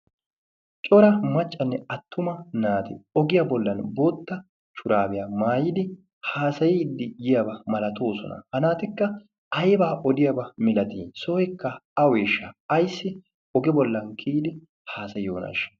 cora maccanne attuma naati ogiyaa bollan bootta shuraabiyaa maayidi haasayiiddi yiyaabaa malatoosona. ha naatikka aibaa odiyaabaa milati ?sooikka aueeshsha aissi oge bollan kiyidi haasayiyoonaashsha?